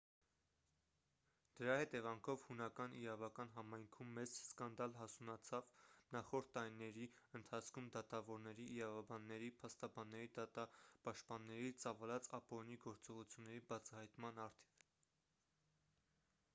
դրա հետևանքով հունական իրավական համայնքում մեծ սկանդալ հասունացավ նախորդ տարիների ընթացքում դատավորների իրավաբանների փաստաբանների դատապաշտպանների ծավալած ապօրինի գործողությունների բացահայտման առթիվ